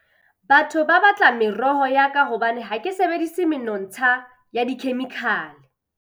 Batho ba batla meroho ya ka hobane ha ke sebedisi menontsha ya dikhemikhale.